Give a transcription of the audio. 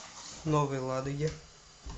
новой ладоге